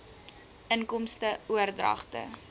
inkomste oordragte